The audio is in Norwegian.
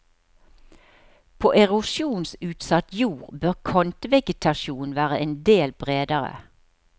På erosjonsutsatt jord bør kantvegetasjonen være en del bredere.